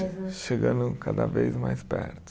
Chegando cada vez mais perto.